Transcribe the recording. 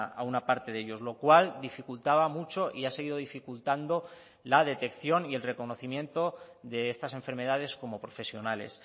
a una parte de ellos lo cual dificultaba mucho y ha seguido dificultando la detección y el reconocimiento de estas enfermedades como profesionales